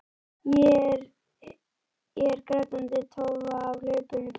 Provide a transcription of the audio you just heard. Ég er hin grátandi tófa á hlaupunum.